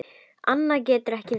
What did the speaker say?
Annað getur ekki verið.